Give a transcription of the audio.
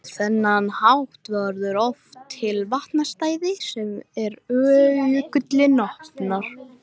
Beyging heitisins er síðan sýnd í eintölu og fleirtölu.